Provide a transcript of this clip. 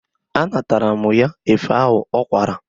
A natala mụ ya efe ahụ ọ kwara.